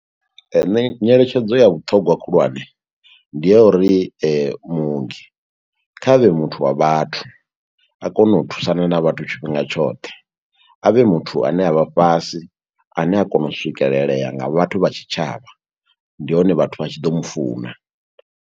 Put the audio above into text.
Nṋe nyeletshedzo ya vhuṱhongwa khulwane, ndi ya uri muongi kha vhe muthu wa vhathu. A kone u thusana na vhathu tshifhinga tshoṱhe, a vhe muthu a ne a vha fhasi, ane a kona u swikelelea nga vhathu vha tshitshavha. Ndi hone vhathu vha tshi ḓo mufuna.